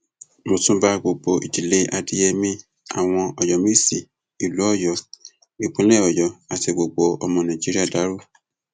mo tún bá gbogbo ìdílé adéyẹmi àwọn ọyọmẹsì ìlú ọyọ ìpínlẹ ọyọ àti gbogbo ọmọ nàìjíríà dárò